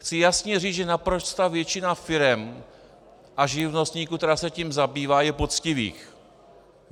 Chci jasně říci, že naprostá většina firem a živnostníků, kteří se tím zabývají, je poctivých.